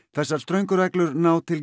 þessar ströngu reglur ná til